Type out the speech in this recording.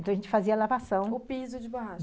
Então, a gente fazia a lavação... O piso de borracha.